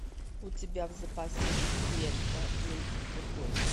у тебя в запасе есть лента леди в фургоне